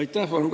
Aitäh!